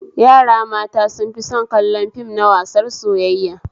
Yara mata sun fi son kallon fim na wasar soyayya